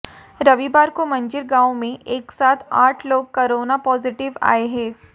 रविवार को मंजीर गांव में एक साथ आठ लोग कोरोना पाजिटिव आए हैं